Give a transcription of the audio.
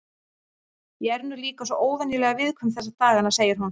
Ég er nú líka svo óvenjulega viðkvæm þessa dagana, segir hún.